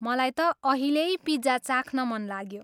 मलाई त अहिल्यै पिज्जा चाख्न मन लाग्यो।